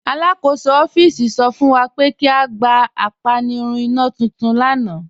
Alakọsọ ọffíísì sọ fún wa pé kí a gbà àpànìrùn ìnà tuntun lána.